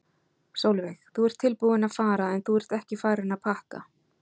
Sólveig: Þú ert tilbúinn að fara en þú ert ekki farinn að pakka?